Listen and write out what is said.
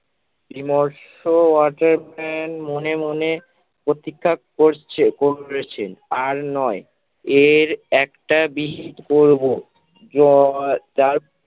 বিমর্ষ অচেতন মনে মনে প্রতিজ্ঞা করছে করেছেন আর নয় এর একটা বিহিত করব। জয় যার